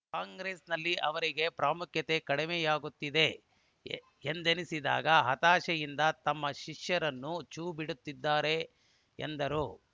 ಕಾಂಗ್ರೆಸ್‌ನಲ್ಲಿ ಅವರಿಗೆ ಪ್ರಾಮುಖ್ಯತೆ ಕಡಿಮೆಯಾಗುತ್ತಿದೆ ಎಂದೆನಿಸಿದಾಗ ಹತಾಶೆಯಿಂದ ತಮ್ಮ ಶಿಷ್ಯರನ್ನು ಛೂ ಬಿಡುತ್ತಿದ್ದಾರೆ ಎಂದರು